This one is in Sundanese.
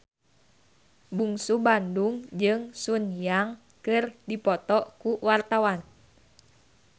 Bungsu Bandung jeung Sun Yang keur dipoto ku wartawan